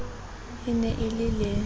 e ne e le le